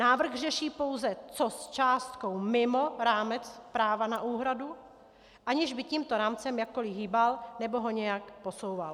Návrh řeší pouze, co s částkou mimo rámec práva na úhradu, aniž by tímto rámcem jakkoli hýbal nebo ho nějak posouval.